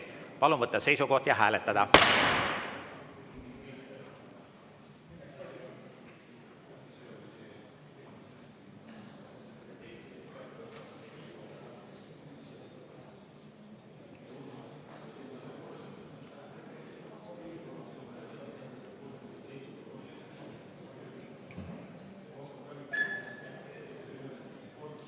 Palun võtta seisukoht ja hääletada!